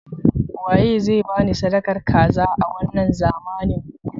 Waye zai bani sadakar kaza a wanna zamanin?